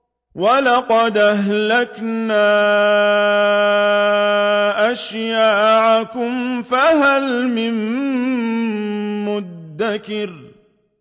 وَلَقَدْ أَهْلَكْنَا أَشْيَاعَكُمْ فَهَلْ مِن مُّدَّكِرٍ